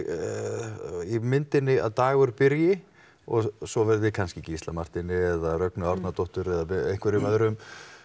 í myndinni að Dagur byrji og svo verði kannski Gísla Marteini eða Rögnu Árnadóttur eða einhverjum öðrum